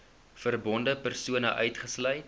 verbonde persone uitgesluit